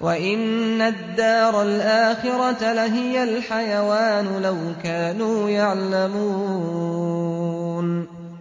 وَإِنَّ الدَّارَ الْآخِرَةَ لَهِيَ الْحَيَوَانُ ۚ لَوْ كَانُوا يَعْلَمُونَ